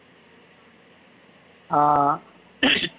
ஆஹ்